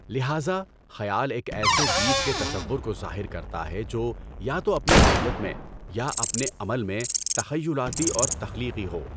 لہٰذا، خیال ایک ایسے گیت کے تصور کو ظاہر کرتا ہے جو یا تو اپنی نوعیت میں، یا اپنے عمل میں تخیلاتی اور تخلیقی ہو۔